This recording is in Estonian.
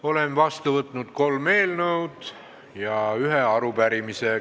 Olen vastu võtnud kolm eelnõu ja ühe arupärimise.